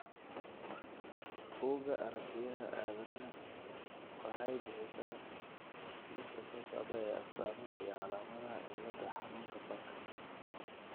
Bugga Aartigayaha Aadanaha waxay bixisaa liiska soo socda ee astamaha iyo calaamadaha cilada xanuunka fanka .